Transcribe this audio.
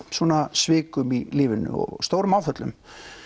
svikum í lífinu stórum áföllum